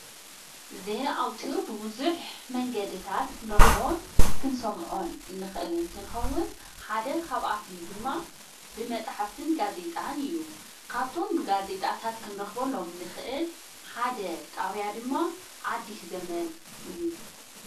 ዘንኣውቱር ብብዙኅ መንገድእታት ክንረኽቦን ክንሰምዖን እንኽእል እንትንኸውን ሓደ ኻብኣቶም ድማ ብመጻሕፍትን ጋዜይጣን እዩ ካብቶም ብጋዜይጣታት ክንረኽቦሎም እንኽእል ሓደ ጣውያ ድማ ኣዲስ ዘመን እዩ።